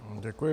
Děkuji.